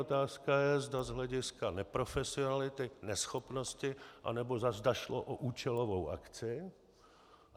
Otázka je, zda z hlediska neprofesionality, neschopnosti, anebo zda šlo o účelovou akci.